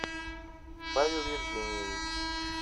павел евгеньевич